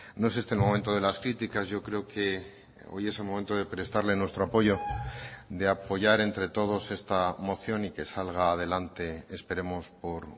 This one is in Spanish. no es este el momento de las críticas yo creo que hoy es el momento de prestarle nuestro apoyo de apoyar entre todos esta moción y que salga adelante esperemos por